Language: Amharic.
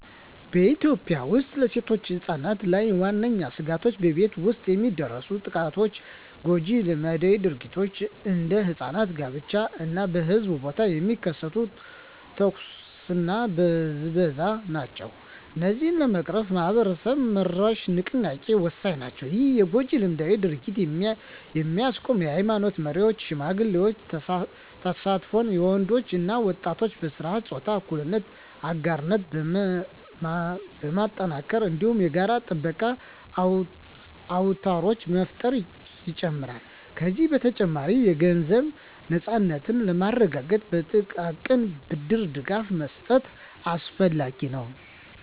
በኢትዮጵያ ውስጥ በሴቶችና ሕጻናት ላይ ዋነኛ ስጋቶች በቤት ውስጥ የሚደርሱ ጥቃቶች፣ ጎጂ ልማዳዊ ድርጊቶች (እንደ ሕጻናት ጋብቻ) እና በሕዝብ ቦታ የሚከሰት ትንኮሳና ብዝበዛ ናቸው። እነዚህን ለመቅረፍ ማኅበረሰብ-መራሽ ንቅናቄዎች ወሳኝ ናቸው። ይህም የጎጂ ልማዳዊ ድርጊቶችን የሚያስቆም የኃይማኖት መሪዎች እና ሽማግሌዎች ተሳትፎን፣ የወንዶች እና ወጣቶች በሥርዓተ-ፆታ እኩልነት አጋርነት ማጠናከርን፣ እንዲሁም የጋራ ጥበቃ አውታሮችን መፍጠርን ይጨምራል። ከዚህ በተጨማሪ፣ የገንዘብ ነፃነትን ለማረጋገጥ የጥቃቅን ብድር ድጋፍ መስጠት አስፈላጊ ነው።